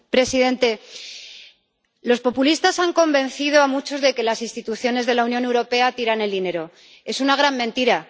Señor presidente, los populistas han convencido a muchos de que las instituciones de la Unión Europea tiran el dinero es una gran mentira